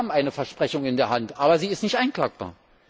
Wir haben eine Versprechung in der Hand, aber sie ist nicht einklagbar.